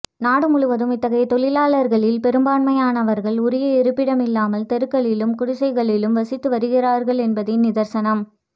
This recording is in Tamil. நாடு முழுவதும் இத்தகைய தொழிலாளர்களில் பெரும்பான்மையானவர்கள் உரிய இருப்பிடம் இல்லாமல் தெருக்களிலும் குடிசைகளிலும் வசித்து வருகிறார்கள் என்பதே நிதர்சனம்